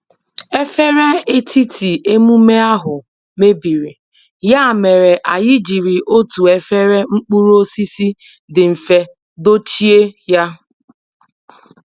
Efere etiti emume ahụ mebiri, ya mere anyị jiri otu efere mkpụrụ osisi dị mfe dochie ya